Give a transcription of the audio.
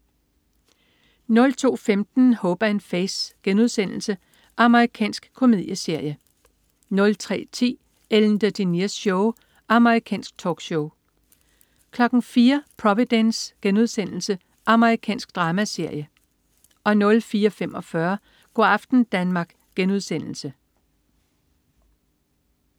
02.15 Hope & Faith.* Amerikansk komedieserie 03.10 Ellen DeGeneres Show. Amerikansk talkshow 04.00 Providence.* Amerikansk dramaserie 04.45 Go' aften Danmark*